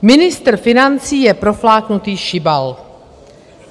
Ministr financí je profláknutý šibal.